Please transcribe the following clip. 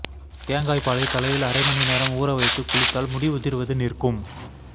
தேங்காய் பாலைத் தலையில் அரை மணி நேரம் ஊற வைத்துக் குளித்தால் முடி உதிர்வது நிற்கும்